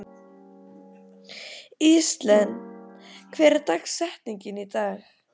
Íselín, hver er dagsetningin í dag?